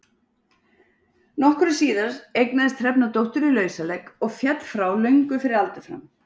Nokkru síðar eignaðist Hrefna dóttur í lausaleik og féll frá löngu fyrir aldur fram.